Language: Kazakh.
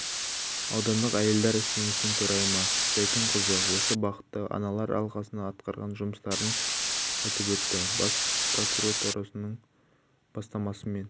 аудандық әйелдер кеңесінің төрайымы зәйтүнқызы осы бағытта аналар алқасының атқарған жұмыстарын айтып өтті бас прокуратурасының бастамасымен